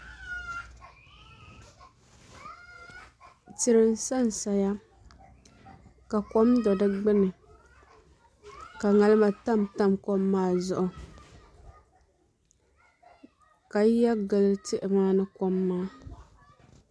Tihi n san saya ka kom do di gbuni ka ŋarima tamtam kom maa zuɣu ka yiya gili tihi maa ni kom maa